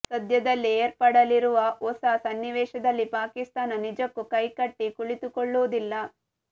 ಸದ್ಯದಲ್ಲೇ ಏರ್ಪಡಲಿರುವ ಹೊಸ ಸನ್ನಿವೇಶದಲ್ಲಿ ಪಾಕಿಸ್ತಾನ ನಿಜಕ್ಕೂ ಕೈ ಕಟ್ಟಿ ಕುಳಿತುಕೊಳ್ಳುವುದಿಲ್ಲ